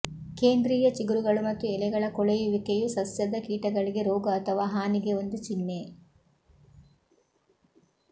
ಕೇಂದ್ರೀಯ ಚಿಗುರುಗಳು ಮತ್ತು ಎಲೆಗಳ ಕೊಳೆಯುವಿಕೆಯು ಸಸ್ಯದ ಕೀಟಗಳಿಗೆ ರೋಗ ಅಥವಾ ಹಾನಿಗೆ ಒಂದು ಚಿಹ್ನೆ